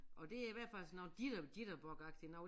Og det er i hvert fald sådan noget jitterbug agtigt noget